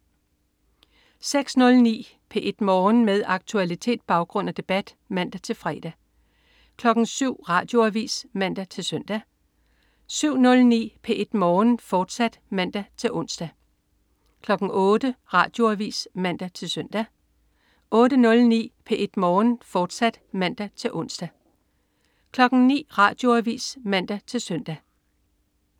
06.09 P1 Morgen. Med aktualitet, baggrund og debat (man-fre) 07.00 Radioavis (man-søn) 07.09 P1 Morgen, fortsat (man-ons) 08.00 Radioavis (man-søn) 08.09 P1 Morgen, fortsat (man-ons) 09.00 Radioavis (man-søn)